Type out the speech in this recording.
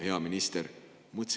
Hea minister!